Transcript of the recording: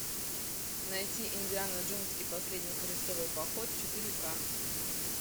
найти индиана джонс и последний крестовый поход четыре ка